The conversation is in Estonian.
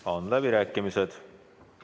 Nüüd on läbirääkimised.